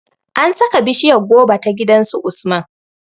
An sa ka bishiryar goba ta gidan su Usman